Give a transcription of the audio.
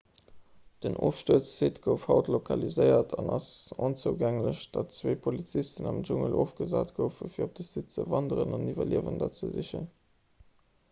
den ofstuerzsite gouf haut lokaliséiert an ass esou onzougänglech datt zwee polizisten am dschungel ofgesat goufen fir op de site ze wanderen an iwwerliewender ze sichen